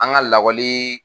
An ka lakɔli